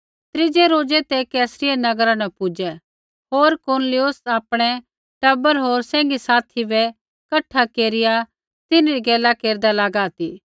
त्रीज़ै रोज़ै ते कैसरिया नगरा न पुजै होर कुरनेलियुस आपणै टबर होर सैंघीसाथी बै कठा केरिआ तिन्हरी गैला केरदा लागा ती